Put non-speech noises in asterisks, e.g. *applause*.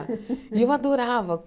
*laughs* E eu adorava.